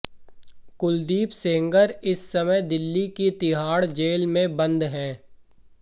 कुलदीप सेंगर इस समय दिल्ली की तिहाड़ जेल में बंद है